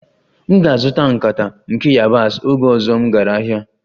M ga-azụta nkata nke yabasị oge ọzọ m gara ahịa